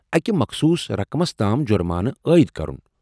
اکہ مخصوص رقمس تام جرمانہٕ عاید کرُن۔